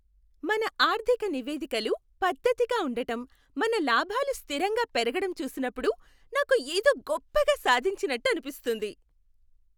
మన ఆర్థిక నివేదికలు పద్దతిగా ఉండటం, మన లాభాలు స్థిరంగా పెరగడం చూసినప్పుడు నాకు ఏదో గొప్పగా సాధించినట్టు అనిపిస్తుంది